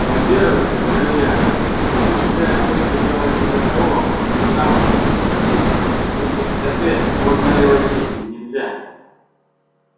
во-первых говорю я стук в дверь обычно делается для того чтобы там же в смысле за дверью выслушать ответ можно ли войти или нельзя